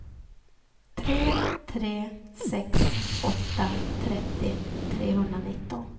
tre tre sex åtta trettio trehundranitton